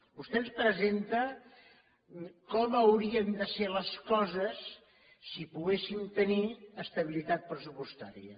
vostè ens presenta com haurien de ser les coses si poguéssim tenir estabilitat pressupostària